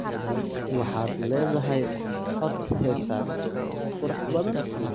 Waxaad leedahay cod heeseed qurux badan.